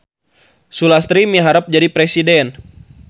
Sulastri miharep jadi presiden